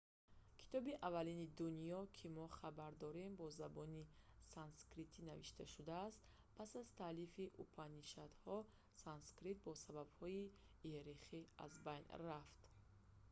китоби аввалини дунё ки мо хабар дорем бо забони санскритӣ навишта шудааст пас аз таълифи упанишадҳо санскрит бо сабабҳои иерархия аз байн рафт